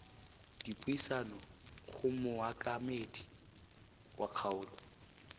dipuisano go mookamedi wa kgaolo